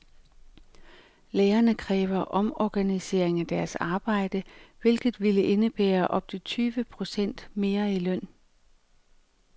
Lærerne kræver omorganisering af deres arbejde, hvilket ville indebære op til tyve procent mere i løn.